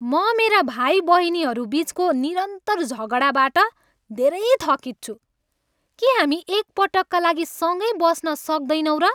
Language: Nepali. म मेरा भाइबहिनीहरू बिचको निरन्तर झगडाबाट धेरै थकित छु। के हामी एक पटकका लागि सँगै बस्न सक्दैनौँ र?